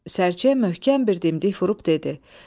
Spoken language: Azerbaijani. Sərçəyə möhkəm bir dimdik vurub dedi: